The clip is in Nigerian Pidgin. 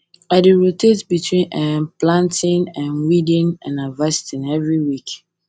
i dey rotate between um planting um weeding and harvesting every week